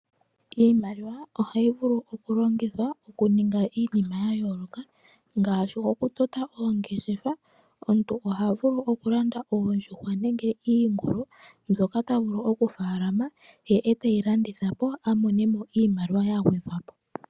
Iimaliwa ohayi vulu okulongithwa okuninga iinima ya yooloka ngashi okutota oongeshefa. Omuntu oha vulu okulanda oondjuhwa nenge iingulu mbyoka ta vulu okufaalama ye eteyi landitha po amone mo iimaliwa ya gwedhwa po.